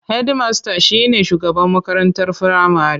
Hedmasta shine shugaban makarantar firamare.